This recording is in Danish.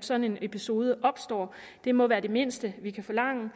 sådan en episode opstår det må være det mindste vi kan forlange